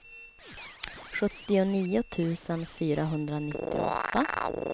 sjuttionio tusen fyrahundranittioåtta